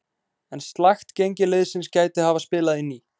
En slakt gengi liðsins gæti hafa spilað inn í.